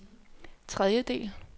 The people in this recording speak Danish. tredjedel